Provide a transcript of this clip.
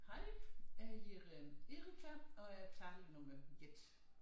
Hej jeg hedder Erika og er taler nummer 1